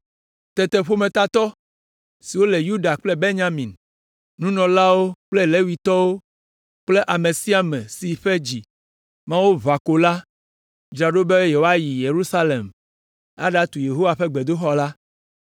Tete ƒometatɔ siwo le Yuda kple Benyamin, nunɔlawo kple Levitɔwo kple ame sia ame si ƒe dzi Mawu ʋã ko la, dzra ɖo be woayi Yerusalem aɖatu Yehowa ƒe gbedoxɔ la.